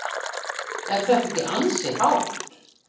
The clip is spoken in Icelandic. Er þetta ekki ansi hátt?